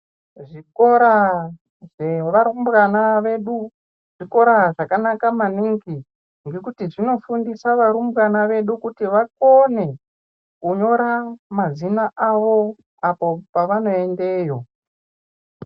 Zvikora zvevarumbwana vedu zvikora zvakanaka maningi ngekuti zvinofundisa varumbwana vedu kuti vakone kunyora mazina avo pavanoendeyo.